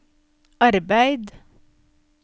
arbeid